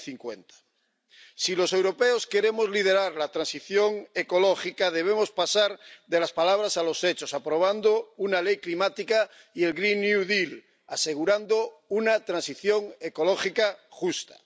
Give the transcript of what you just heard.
2050. Si los europeos queremos liderar la transición ecológica, debemos pasar de las palabras a los hechos, aprobando una ley climática y el Green New Deal asegurando una transición ecológica justa.